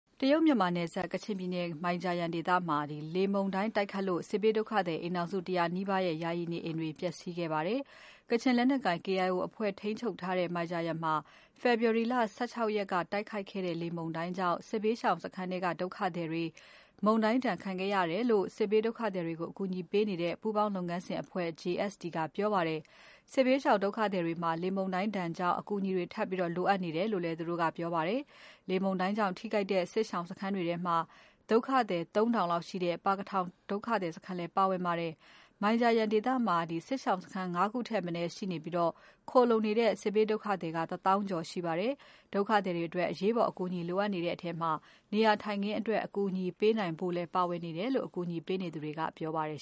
တရုတ်- မြန်မာနယ်စပ် မိုင်ဂျာယန်ဒေသမှာ လေမုန်တိုင်းတိုက်ခတ်လို့ စစ်ဘေးဒုက္ခသည် အိမ်ထောင်စု ၁၀၀ နီးပါးရဲ့ ယာယီနေအိမ်တွေ ပျက်စီးခဲ့ပါတယ်။ ကချင်လက်နက်ကိုင် KIO အဖွဲ့ ထိန်းချုပ်ထားတဲ့ မိုင်ဂျာယန်မှာ ဖေဖော်ဝါရီလ ၁၆ ရက်က တိုက်ခိုက်တဲ့ လေမုန်တိုင်းကြောင့် စစ်ဘေးရှောင်စခန်းထဲက ဒုက္ခသည်တွေ မုန်တိုင်းဒဏ်ခံခဲ့ရတယ်လို့ စစ်ဘေးဒုက္ခသည်တွေကို အကူအညီပေးနေတဲ့ ပူးပေါင်းလုပ်ငန်းစဉ်အဖွဲ့ JST ကပြောပါတယ်။ စစ်ဘေးရှောင် ဒုက္ခသည်တွေမှာ လေမုန်တိုင်းဒဏ်ကြောင့် အကူအညီတွေ ထပ်ပြီးလိုအပ်နေတယ်လို့လည်း ပြောပါတယ်။ လေပြင်းကြောင့် ထိခိုက်တဲ့ စစ်ရှောင်စခန်းတွေထဲမှာ ဒုက္ခသည် ၃ ထောင်လောက်ရှိတဲ့ ပါကထောင် ဒုက္ခသည်စခန်း လည်းပါဝင် ပါတယ်။ မိုင်ဂျာယန်ဒေသမှာ စစ်ရှောင်စခန်း ၅ခုထက်မနည်းရှိပြီး ခိုလှုံနေတဲ့ စစ်ဘေးဒုက္ခသည် ၁ သောင်းကျော်ရှိပါတယ်။ ဒုက္ခသည်တွေအတွက် အရေးပေါ် အကူအညီလိုအပ်နေတဲ့ထဲမှာ နေရာထိုင်ခင်းအတွက် အကူအညီပေးနိုင်ဖို့လည်း ပါဝင်နေတယ်လို့ အကူအညီပေးနေသူတွေက ပြောပါတယ်